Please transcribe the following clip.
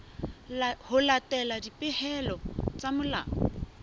ho latela dipehelo tsa molao